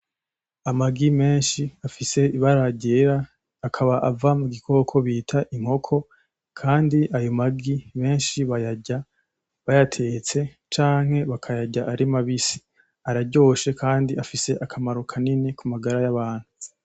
Amagi menshi afise ibara ryera akaba ava mugikoko bita inkoko Kandi ayo magi menshi bayarya bayatetse canke bakayarya ari mabisi, araryoshe Kandi afise akamaro kanini kumagara yabantu.